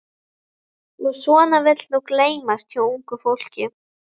Og svona vill nú gleymast hjá ungu fólki.